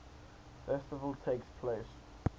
festival takes place